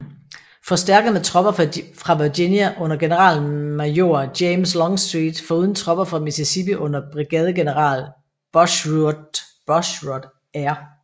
Forstærket med tropper fra Virginia under generalmajor James Longstreet foruden tropper fra Mississippi under brigadegeneral Bushrod R